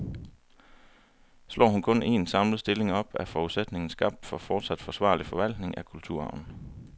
Slår hun kun en, samlet stilling op, er forudsætningen skabt for fortsat forsvarlig forvaltning af kulturarven.